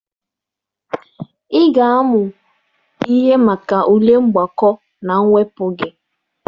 Ị ga-amụ ihe maka ule mgbakọ na mwepụ gị!